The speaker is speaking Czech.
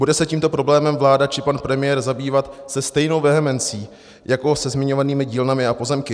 Bude se tímto problémem vláda či pan premiér zabývat se stejnou vehemencí jako se zmiňovanými dílnami a pozemky?